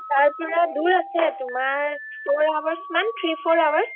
তাৰ পৰা দুৰ আছে তোমাৰ four hours মান three four hours